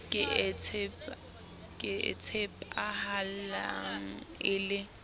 ke e tshepahalang le e